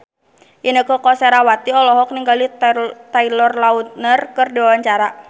Inneke Koesherawati olohok ningali Taylor Lautner keur diwawancara